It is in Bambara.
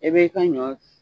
I bɛ i ka ɲɔ